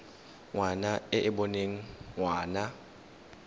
ngwana e e boneng ngwana